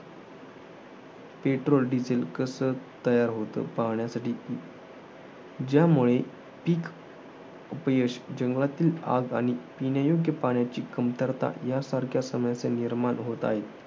Petrol, diesel कसे तयार होते? पाहण्यासाठी ज्यामुळे पिक अपयश आणि जंगलातील आग आणि पिण्यायोग्य पाण्याची कमतरता. यांसारख्या समस्या निर्माण होत आहेत.